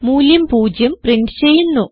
മൂല്യം 0 പ്രിന്റ് ചെയ്യുന്നു